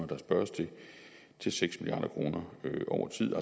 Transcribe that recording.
der spørges til til seks milliard kroner over tid